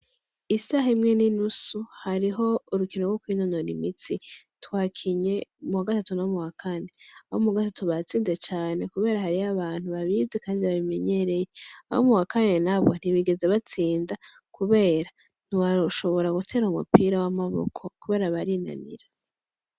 Isaha imwe n’inusu hariho urukundo rwo kwinonora imitsi twakinye muwagatatu no muwa Kane , abo mu wa gatatu batsinze cane kubera hariho abantu babizi kandi babimenyereye. Abo mu wa Kane n’aho ntibigeze batsinda kubera ntibashobora gutera umupira w’amaboko kubera barinanira.